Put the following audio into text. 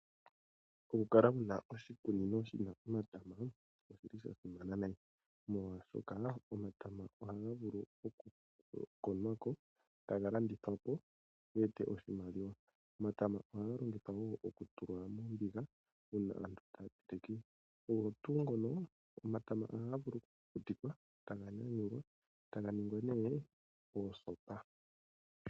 Okukala wu na oshikunino shi na omatama osha simana noonkondo, oshoka omatama ohaga vulu okukonwa ko taga landithwa po, opo ge ete oshimaliwa. Omatama ohaga longithwa wo okutulwa mombiga, uuna aantu taa teleke. Ogo tuu ngono, omatama ohaga vulu okukukutikwa taga nyanyulwa, taga ningwa osopa.